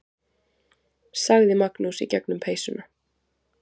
sagði Magnús í gegnum peysuna.